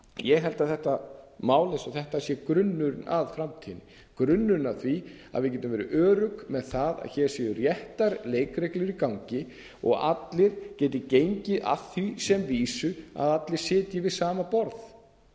ég held að þetta mál eins og þetta sé grunnur a framtíðinni grunnurinn að því að við getum verið örugg með það að hér séu réttar leikreglur í gangi og allir geti gengið að því sem vísu að allir sitji við